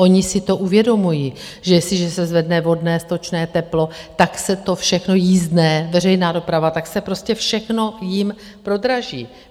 Oni si to uvědomují, že jestliže se zvedne vodné, stočné, teplo, tak se to všechno, jízdné, veřejná doprava, tak se prostě všechno jim prodraží.